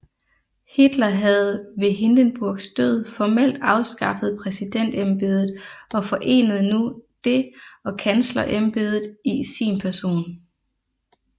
Hitler havde ved Hindenburgs død formelt afskaffet præsidentembedet og forenede nu det og kanslerembedet i sin person